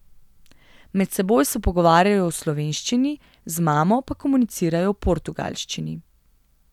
Med seboj se pogovarjajo v slovenščini, z mamo pa komunicirajo v portugalščini.